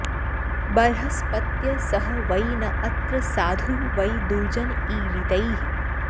बर्हस्पत्य सः वै न अत्र साधुः वै दुर्जन् ईरितैः